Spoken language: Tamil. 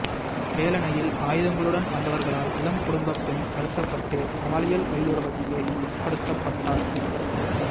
வேலணையில் ஆயுதங்களுடன் வந்தவர்களால் இளம் குடும்பப் பெண் கடத்தப்பட்டு பாலியல்வல்லுறவுக்கு உட்படுத்தப்பட்டார்